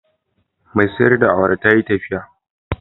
Mai sayar da awara ta yi tafiya